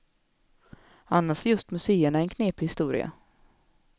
Annars är just museerna en knepig historia.